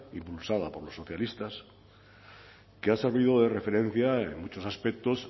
impulsada por los socialistas que ha servido de referencia en muchos aspectos